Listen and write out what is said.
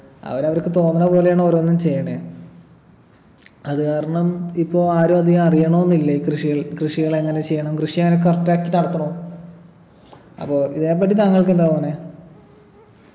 അവരവർക്ക് തോന്ന്ണ പോലെയാണ് ഓരോന്നും ചെയ്യണേ അത് കാരണം ഇപ്പൊ ആരും അധികം അറിയണോന്നില്ല ഈ കൃഷികൾ കൃഷികളെങ്ങനെ ചെയ്യണം കൃഷി അങ്ങനെ correct ആക്കിട്ട് നടത്തണോ അപ്പൊ ഇതിനെപ്പറ്റി താങ്കൾക്കെന്താ തോന്ന്ണെ